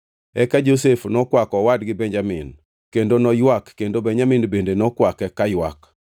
Eka Josef nokwako owadgi Benjamin, kendo noywak kendo Benjamin bende nokwake kaywak.